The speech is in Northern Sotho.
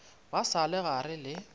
ba sa le gare le